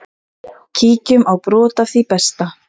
Kíkjum á brot af því besta.